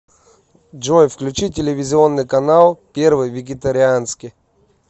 джой включи телевизионный канал первый вегетарианский